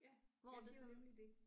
Ja ja det er jo nemlig det